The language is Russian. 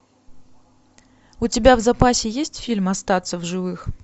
у тебя в запасе есть фильм остаться в живых